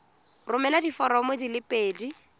romela diforomo di le pedi